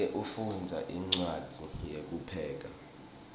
make ufundza incwadzi yekupheka